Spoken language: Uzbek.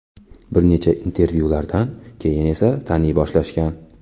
Bir necha intervyulardan keyin esa taniy boshlashgan.